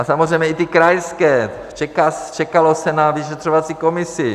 A samozřejmě i ty krajské - čekalo se na vyšetřovací komisi.